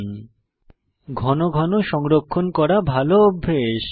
file ঘন ঘন সংরক্ষণ করা ভালো অভ্যাস